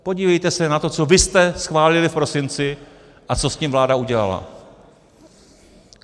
Podívejte se na to, co vy jste schválili v prosinci a co s tím vláda udělala.